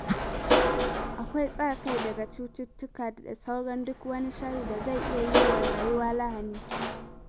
Akwai tsare kai daga cututtuka da sauran duk wani sharri da zai iya yi wa rayuwa lahani.